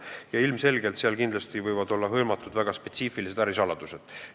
Ja ilmselgelt võib seal tegu olla väga spetsiifiliste ärisaladustega.